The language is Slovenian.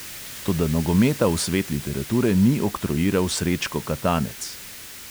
Toda nogometa v svet literature ni oktroiral srečko katanec.